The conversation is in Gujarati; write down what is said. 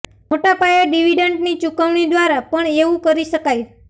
મોટા પાયે ડિવિડન્ડની ચૂકવણી દ્વારા પણ એવું કરી શકાય